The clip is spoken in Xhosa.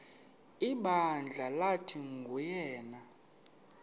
ibandla lathi nguyena